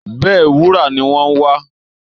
Bẹ́ẹ̀, wúrà ni wọ́n ń wá